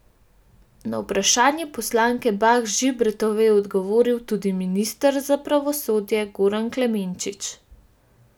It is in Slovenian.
Na vprašanje poslanke Bah Žibertove je odgovoril tudi minister za pravosodje Goran Klemenčič.